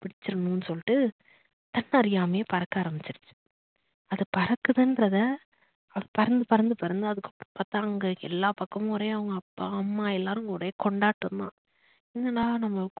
பிடிச்சுடனோம்னு சொல்லிட்டு தன்ன அறியாமையே பறக்க ஆரம்பிச்சிடுச்சு அது பறக்குறதுன்றத பறந்து பறந்து பறந்து அதுக்கு அப்பதான் எல்லா பக்கமுமே ஒரே அவங்க அப்பா அம்மா எல்லாரும் ஒரே கொண்டாட்டம்தான் என்னடா நம்ப